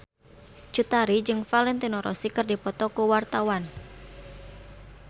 Cut Tari jeung Valentino Rossi keur dipoto ku wartawan